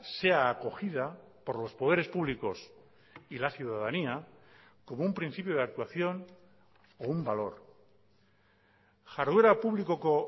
sea acogida por los poderes públicos y la ciudadanía como un principio de actuación o un valor jarduera publikoko